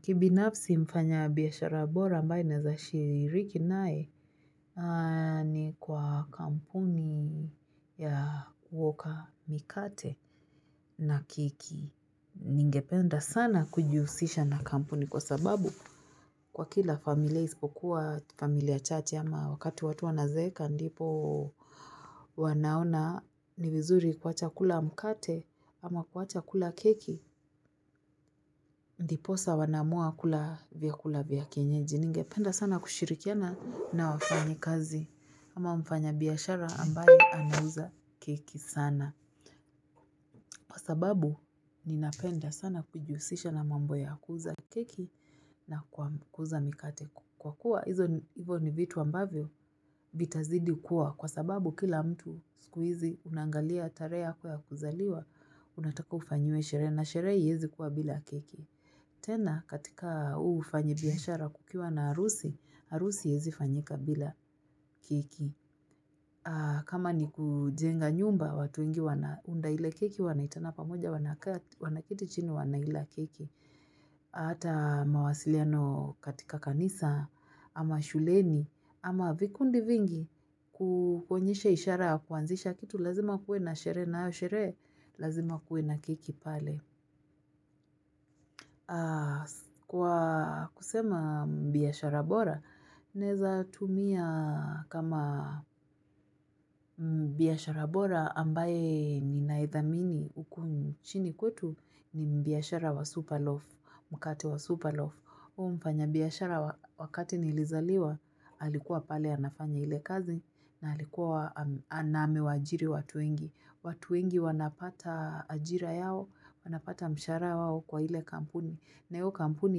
Kibinafsi mfanyabiashara bora ambaye naweza shiriki naye ni kwa kampuni ya kuoka mikate na keki. Ningependa sana kujihusisha na kampuni kwa sababu kwa kila familia isipokuwa familia chache ama wakati watu wanazeeka ndipo wanaona ni vizuri kuacha kula mkate ama kuacha kula keki. Ndiposa wanaamua kula vyakula vya kienyeji ningependa sana kushirikiana na wafanyi kazi ama mfanyabiashara ambaye anauza keki sana. Kwa sababu ninapenda sana kujusisha na mambo ya kuuza keki na kuuza mikate kwa kuwa hivyo ni vitu ambavyo vitazidi kuwa kwa sababu kila mtu sikuizi unangalia tare ya kwa kuzaliwa unataka ufanyue shire na shire yezi kuwa bila keki. Tena katika huu ufanyibiashara kukiwa na harusi, harusi haezi fanyika bila kiki. Kama ni kujenga nyumba, watu ingi wana unda ile kiki wanaitana pamoja wanakiti chini wanaila kiki. Hata mawasiliano katika kanisa ama shuleni ama vikundi vingi kukonyesha ishara kuanzisha kitu lazima kuwe na shehere nayo sherehe, lazima kuwe na kiki pale. Kwa kusema biashara bora, naeza tumia kama biashara bora ambaye ninaedhamini ukuni chini kutu ni biashara wa superloaf, mkate wa superloaf. Huo mfanya biyashara wakati ni ilizaliwa, halikuwa pale ya nafanya ile kazi na halikuwa anamewaajiri watu wengi. Watu wengi wanapata ajira yao, wanapata mshahara yao kwa ile kampuni. Na hiyo kampuni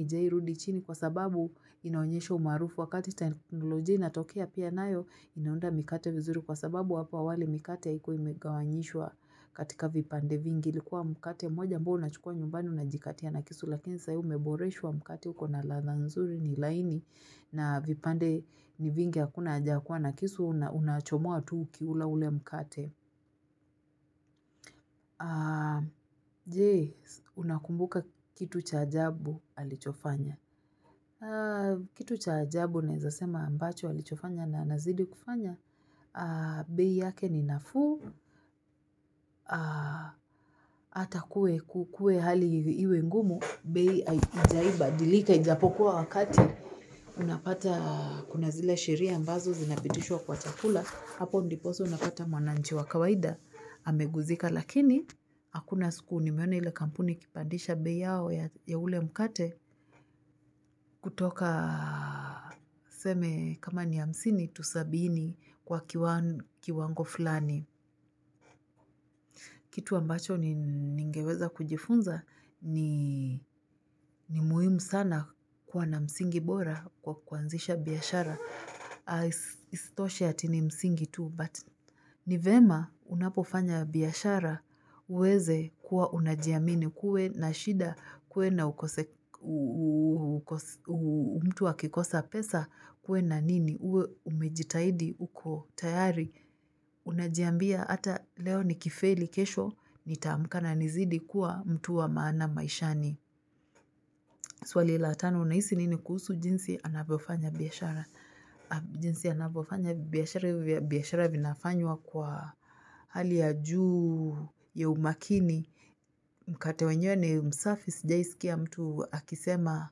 haijarudi chini kwa sababu inaonyesho umaarufu wakati teknoloji inatokea pia nayo inaunda mikate vizuri kwa sababu wapo awale mikate haikuwa imegawanyishwa katika vipande vingi. Ilikuwa mkate mmoja amboa unachukua nyumbani unajikatia na kisu lakini sai umeboreshu wa mkate huko na ladha zuri ni laini na vipande ni vingi hakuna aja kua na kisu unachomoa tu ukiula ule mkate je unakumbuka kitu cha ajabu alichofanya. Kitu cha ajabu naizasema ambacho alichofanya na nazidi kufanya bei yake ni nafuu ata kukue hali iwe ngumu bei haijai badilika ijapokuwa wakati unapata kuna zile sheria ambazo zinapitishwa kwa chakula hapo ndiposo unapata mwananchi wa kawaida ameguzika lakini hakuna siku ni meona ile kampuni kipandisha bei yao ya ule mkate kutoka seme kama ni hamsini to sabini kwa kiwango fulani kitu ambacho ningeweza kujifunza ni muhimu sana kuwa na msingi bora kwa kuanzisha biashara istoshe ati ni msingi tu but nivyema unapofanya biashara uweze kuwa unajiamini kuwe na shida kuwe na ukose umtua kikosa pesa kuwe na nini uwe umejitaidi uko tayari unajiambia ata leo ni kifeli kesho nitaamka na nizidi kuwa mtu wa maana maishani swali la tano hunaisi nini kuhusu jinsi anapofanya biashara? Jinsi ya napofanya biashara vinafanywa kwa hali ya juu ya umakini Mkate wenye ni msafis sijawai siki ya mtu akisema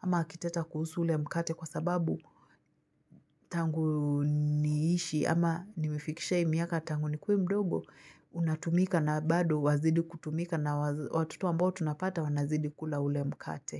ama akiteta kuhusu ule mkate kwa sababu tangu niishi ama nimifikisha hii miaka tangu ni kue mdogo unatumika na bado wazidi kutumika na watoto ambao tunapata wazidi kula ule mkate.